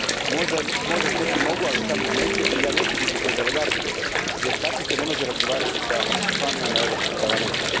Možda s nekim mogu, ali sa mnom neće i ja neću više biti u toj delegaciji jer se tako ne može razgovarati s članovima Europskog parlamenta.